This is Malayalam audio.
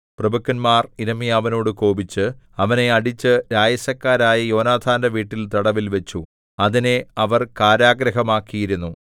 പ്രഭുക്കന്മാർ യിരെമ്യാവിനോട് കോപിച്ച് അവനെ അടിച്ച് രായസക്കാരനായ യോനാഥാന്റെ വീട്ടിൽ തടവിൽവച്ചു അതിനെ അവർ കാരാഗൃഹമാക്കിയിരുന്നു